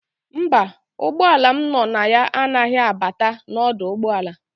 Mba, ụgbọala m no na ya anaghị abata n'ọdụ ụgbọala.